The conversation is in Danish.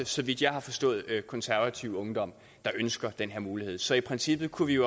så vidt jeg har forstået konservativ ungdom ønsker den her mulighed så i princippet kunne vi